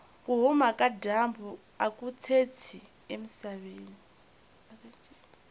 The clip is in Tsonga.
kuhhuma kajambu akutshintshi emisaveni